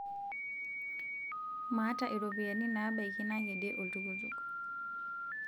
maata iropiani naabaiki nakedie oltukutuk